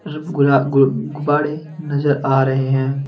रुप गुला गुब ग़ुबाड़े नजर आ रे हैं।